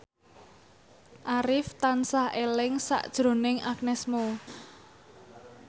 Arif tansah eling sakjroning Agnes Mo